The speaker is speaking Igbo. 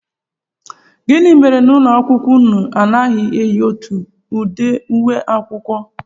Gịnị mere na ụlọakwụkwọ unu anaghị eyi otu ụdị uwe akwụkwọ?